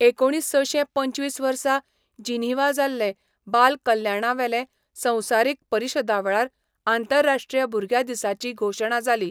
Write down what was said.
एकुणीसशें पंचवीस वर्सा जिनिव्हा जाल्ले बाल कल्याणावेले संवसारीक परिशदेवेळार आंतरराश्ट्रीय भुरग्यां दिसाची घोशणा जाली.